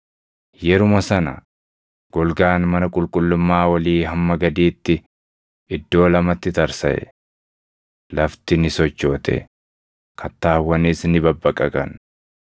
Yeruma sana golgaan mana qulqullummaa olii hamma gadiitti iddoo lamatti tarsaʼe. Lafti ni sochoote; kattaawwanis ni babbaqaqan.